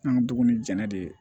An ka dugu ni jɛnɛ de ye